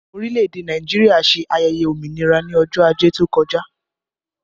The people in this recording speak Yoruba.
Orílẹ̀ èdè Nàìjíríà ṣe ayẹyẹ òmìnira ní ọjọ́ ajé tó kọjá